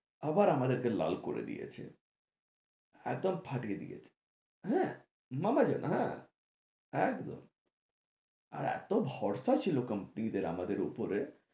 আবার আমাদের কে লাল করে দিয়েছে একদম ফাটিয়ে দিয়েছে হ্যাঁ হ্যাঁ একদম আর এতো ভরসা ছিলো কোম্পানিদের আমাদের উপরে